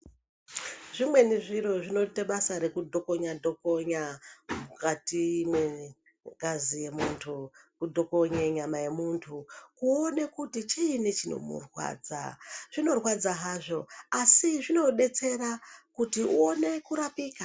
Zvimweni zviro zvinoite basa rekudhokonya-dhokonya mukati mwengazi yemuntu kudhokonye nyama yemuntu kuone kuti chiini chinomurwadza. Zvinorwadza hazvo asi zvinodetsera kuti uone kurapika.